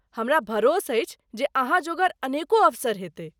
हमरा भरोस अछि जे अहाँ जोगर अनेको अवसर हेतै।